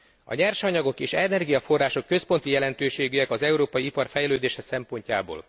A nyersanyagok és energiaforrások központi jelentőségűek az európai ipar fejlődése szempontjából.